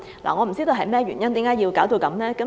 我不知道為何要這樣做。